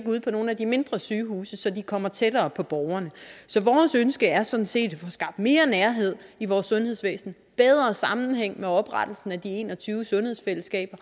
ude på nogle af de mindre sygehuse så de kommer tættere på borgerne så vores ønske er sådan set at få skabt mere nærhed i vores sundhedsvæsen og bedre sammenhæng med oprettelsen af de en og tyve sundhedsfællesskaber